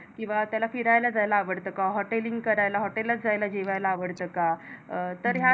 किंवा त्याला फिरायला जायला आवडतं का? Hoteling Hotel लात जायला जेवायला आवडत का? तर या